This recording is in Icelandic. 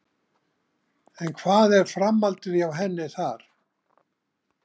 En hvað er framhaldið hjá henni þar?